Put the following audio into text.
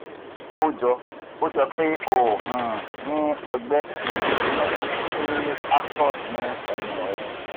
ó jọ ó jọ pé o um ní ọgbẹ́ um inú ti aphthous ni ẹnu rẹ